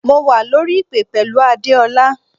Mo wà lórí ìpè pẹ̀lú Adeola.